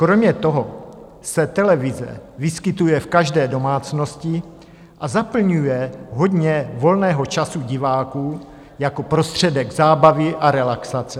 Kromě toho se televize vyskytuje v každé domácnosti a zaplňuje hodně volného času diváků jako prostředek zábavy a relaxace.